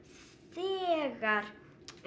þegar